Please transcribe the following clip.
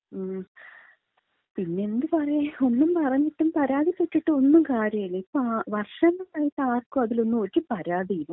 മ്. പിന്നെന്ത് പറയാൻ. ഒന്നും പറഞ്ഞിട്ടും പരാതി പെട്ടിട്ടും ഒന്നും കാര്യല്യ. ഇപ്പൊ വർഷങ്ങളായിട്ട് ആർക്കും അതിലൊന്നും ഒരു പാരതിയും ഇല്ല.